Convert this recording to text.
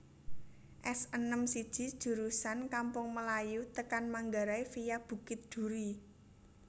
S enem siji jurusan Kampung Melayu tekan Manggarai via Bukit Duri